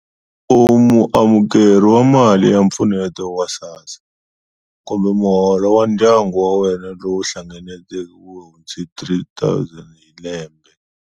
U muamukeri wa mali ya mpfuneto wa SASSA kumbe Muholo wa ndyangu wa wena lowu hlanganeke a wu hundzi R3000 hi lembe.